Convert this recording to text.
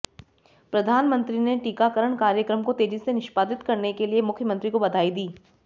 प्रधानमंत्री ने टीकाकरण कार्यक्रम को तेजी से निष्पादित करने के लिए मुख्यमंत्री को बधाई दी